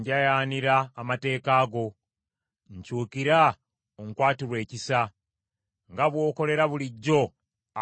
Nkyukira, onkwatirwe ekisa, nga bw’okolera bulijjo abo abaagala erinnya lyo.